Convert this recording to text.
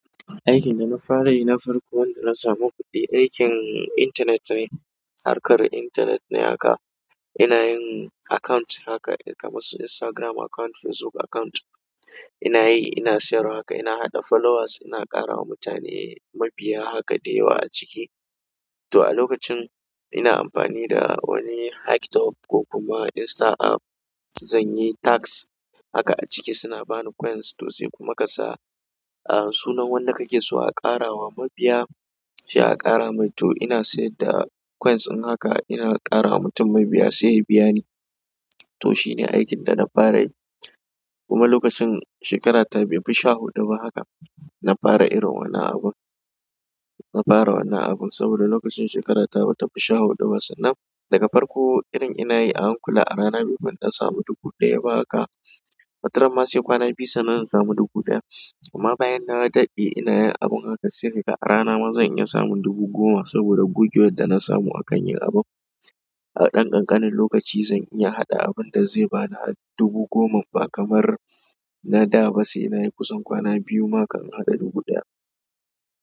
Aikin da na fara yi na farko wanda na samu kuɗi, aikin internet ne. Harkar internet ne haka, ina yin account haka kamar su Instagram account, Facebook account. Inayi ina siyarwa haka ina haɗa followers ina ƙarawa mutane mabiya haka da yawa a ciki to a lokacin ina amfani da wani hack tool ko kuma insta app, zan yi tasks haka a ciki suna ba ni coins to sai kuma ka sa sunan wanda kake so a ƙara wa mabiya, sai a ƙara mai. To ina sayar da coins in haka, ina ƙara wa mutum mabiya sai ya biya ni. To shine aikin dana fara yi kuma lokacin shekara ta baifi sha huɗu ba haka, na fara irin wani abun, na fara wannan abun saboda lokacin shekara ta batafi sha huɗu ba sannan daga farko irin ina yi a hankula a rana baifi in ɗan samu dubu ɗaya ba haka. Wataran ma sai kwana biyu sannan in samu dubu ɗaya. Kuma bayan na daɗe ina yin abun haka sai ka ga a rana ma zan iya samun dubu goma saboda gugewar da na samu a kan yi abun. A ɗan ƙanƙanin lokaci zan iya haɗa abun da zai ba ni har dubu goma ba kamar na da ba sai na yi kusan kwana biyu ma kan in haɗa dubu ɗaya.